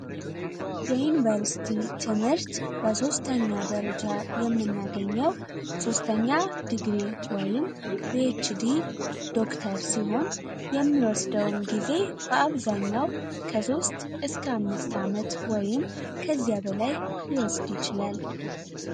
የዩኒቨርሲቲ ትምህርት በሦስተኛ ደረጃ የምናገኘው ሶስተኛ ዲግሪ ፒኤችዲ ወይም ዶክተር ሲሆን የሚወስደውን ጊዜ በአብዛኛው ከሶስት እስከ አምስት ዓመት ወይም ከዚያ በላይ ሊወስድ ይችላል።